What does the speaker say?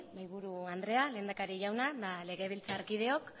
mahaiburu andrea lehendakari jauna eta legebiltzarkideok